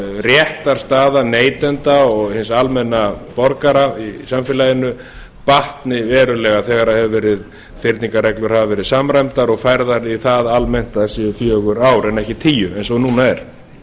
réttarstaða neytenda og hins almenna borgara í samfélaginu batni verulega þegar fyrningarreglur hafa verið samræmdar og færðar í það almennt að þær séu fjögur ár en ekki tíu eins og núna er